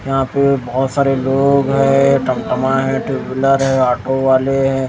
यहां पे बहुत सारे लोग हैं टमटमा है टू व्हीलर है ऑटो वाले हैं।